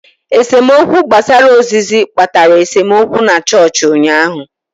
Esemokwu gbasara ozizi kpatara esemokwu na chọọchị ụnyaahụ.